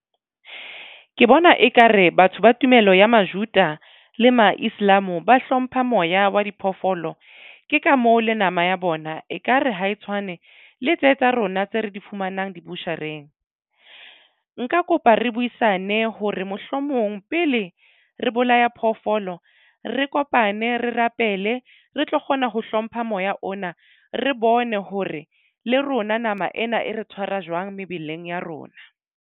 Ke bona ekare batho ba tumelo ya Majuda le mo Islam ba hlompha moya wa diphoofolo. Ke ka mo le nama ya bona ekare ha e tshwane le tse tsa rona tse re di fumanang do-butcher-eng. Nka kopa re buisane hore mohlomong pele re bolaya phoofolo re kopane re rapele re tlo kgona ho hlompha moya ona. Re bone hore le rona nama ena e re tshwara jwang mebeleng ya rona.